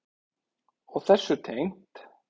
Og þessu tengt.